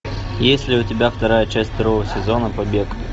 есть ли у тебя вторая часть второго сезона побег